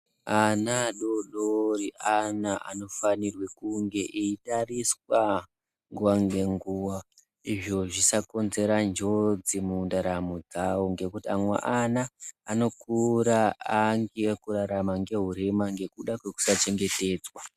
Ana adodori ana anofanire kunge eitariswa nguwa ngenguwa izvo zvisakonzera njodzi mundaramo dzawo ngekuti amwe ana anokura angekurarama nehurema ngekuda kwekusachengetedzwa.